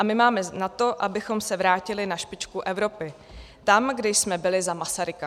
A my máme na to, abychom se vrátili na špičku Evropy, tam, kde jsme byli za Masaryka."